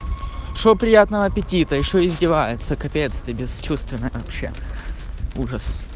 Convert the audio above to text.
что приятного аппетита что издевается капец ты бесчувственная вообще ужас